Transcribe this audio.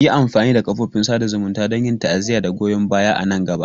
Yi amfani da kafofin sada zumunta don yin ta'aziyya da goyon baya a nan gaba.